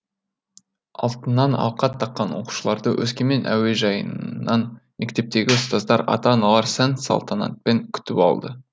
алтыннан алқа таққан оқушыларды өскемен әуежайынан мектептегі ұстаздар ата аналар сән салтанатпен күтіп алды